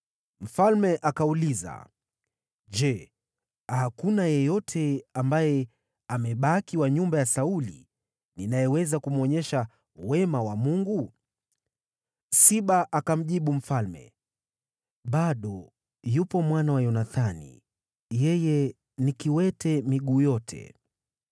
Mfalme akauliza, “Je, hakuna yeyote ambaye amebaki wa nyumba ya Sauli ninayeweza kumwonyesha wema wa Mungu?” Siba akamjibu mfalme, “Bado yupo mwana wa Yonathani, yeye ni kiwete miguu yote.”